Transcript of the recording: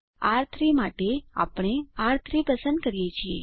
આર3 માટે આપણે આર3 પસંદ કરીએ છીએ